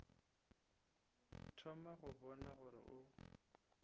thoma go bona gore o